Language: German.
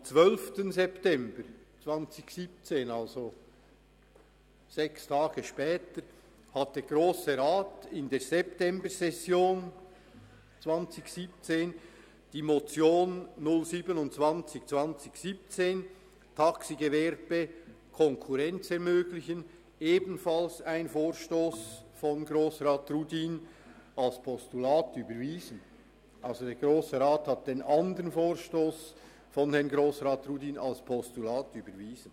Am 12. September 2017, also sechs Tage später, hat der Grosse Rat in der Septembersession 2017 die Motion 0272017 «Taxigewerbe: Konkurrenz ermöglichen» – ebenfalls ein Vorstoss Rudin – als Postulat überwiesen.